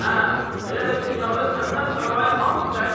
Hə, elə də dünyada səndən savayı hamı dəlidi?